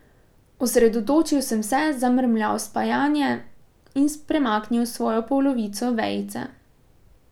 Osredotočil sem se, zamrmral spajanje in premaknil svojo polovico vejice.